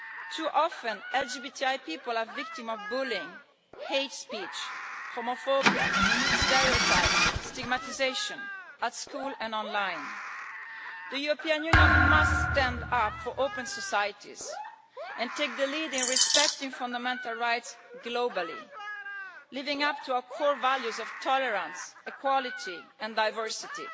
Too often, LGBTI people are victims of bullying, hate speech, homophobia, stereotypes and stigmatisation, at school and online. The European Union must stand up for open societies and take the lead in respecting fundamental rights globally, living up to our core values of tolerance, equality and diversity.